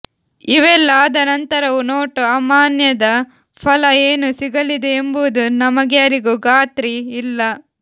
ಇವೆಲ್ಲ ಆದ ನಂತರವೂ ನೋಟು ಅಮಾನ್ಯದ ಫಲ ಏನು ಸಿಗಲಿದೆಯೆಂಬುದು ನಮಗ್ಯಾರಿಗೂ ಖಾತ್ರಿ ಇಲ್ಲ